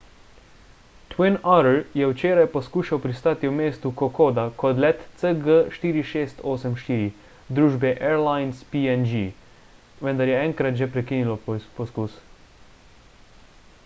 twin otter je včeraj poskušal pristati v mestu kokoda kot let cg4684 družbe airlines png vendar je enkrat že prekinilo poskus